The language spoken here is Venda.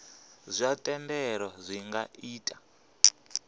zwa thendelo zwi nga ita